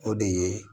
O de ye